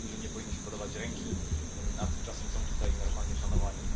Takim ludziom nie powinno się podawać ręki, a tymczasem są tutaj normalnie szanowani.